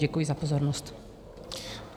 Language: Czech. Děkuji za pozornost.